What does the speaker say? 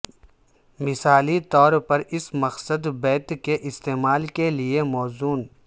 مثالی طور پر اس مقصد بیت کے استعمال کے لیے موزوں